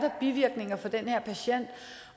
bivirkninger for den her patient